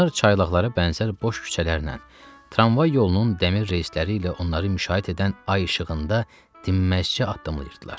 Onlar çaylaqlara bənzər boş küçələrlə, tramvay yolunun dəmir reysləri ilə onları müşayiət edən ay işığında dinməzcə addımlayırdılar.